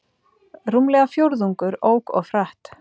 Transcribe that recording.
Rúmlega fjórðungur ók of hratt